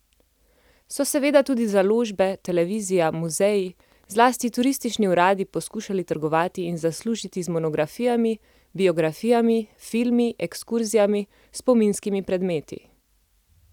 So seveda tudi založbe, televizija, muzeji, zlasti turistični uradi poskušali trgovati in zaslužiti z monografijami, biografijami, filmi, ekskurzijami, spominskimi predmeti.